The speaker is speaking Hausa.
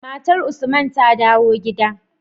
Matar usman ta dawo gida